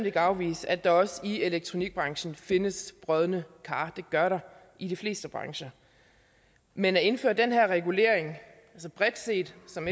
ikke afvise at der også i elektronikbranchen findes brodne kar det gør der i de fleste brancher men at indføre den her regulering altså bredt set som